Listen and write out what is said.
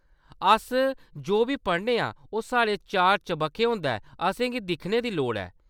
अस जो बी पढ़ने आं, ओह्‌‌ साढ़े चार-चबक्खै होंदा ऐ, असेंगी दिक्खने दी लोड़ ऐ।